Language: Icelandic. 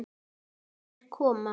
Þær koma.